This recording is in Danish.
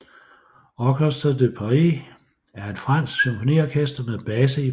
Orchestre de Paris er et fransk symfoniorkester med base i Paris